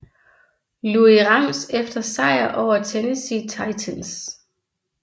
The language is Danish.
Louis Rams efter sejr over Tennessee Titans